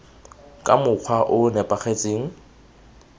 ka mokgwa o o nepagetseng